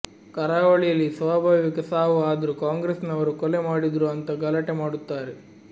ಕರಾವಳಿಯಲ್ಲಿ ಸ್ವಾಭಾವಿಕ ಸಾವು ಆದ್ರೂ ಕಾಂಗ್ರೆಸ್ ನವರು ಕೊಲೆ ಮಾಡಿದ್ರೂ ಅಂತಾ ಗಲಾಟೆ ಮಾಡುತ್ತಾರೆ